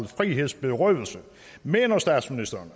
frihedsberøvelse mener statsministeren